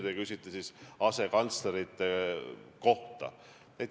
Te küsite asekantslerite kohta.